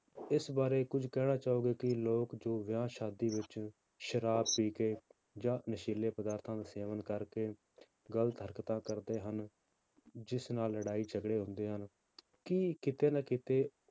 ਇਸ ਬਾਰੇ ਕੁੱਝ ਕਹਿਣਾ ਚਾਹੋਗੇ ਕਿ ਲੋਕ ਜੋ ਵਿਆਹ ਸ਼ਾਦੀ ਵਿੱਚ ਸ਼ਰਾਬ ਪੀ ਕੇ ਜਾਂ ਨਸ਼ੀਲੇ ਪਦਾਰਥਾਂ ਦਾ ਸੇਵਨ ਕਰਕੇ ਗ਼ਲਤ ਹਰਕਤਾਂ ਕਰਦੇ ਹਨ, ਜਿਸ ਨਾਲ ਲੜਾਈ ਝਗੜੇ ਹੁੰਦੇ ਹਨ, ਕੀ ਕਿਤੇ ਨਾ ਕਿਤੇ